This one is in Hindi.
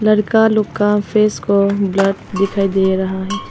लड़का लोग का फेस को ब्लर दिखाई दे रहा है।